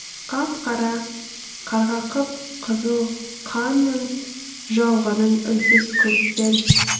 қап қара қарға қып қызыл қанның жауғанын үнсіз көріп пең